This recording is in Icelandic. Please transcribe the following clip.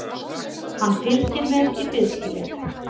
Hann fylgir mér í biðskýlið.